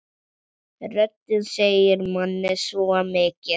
Röddin segir manni svo mikið.